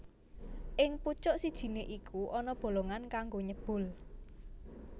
Ing pucuk sijiné iku ana bolongan kanggo nyebul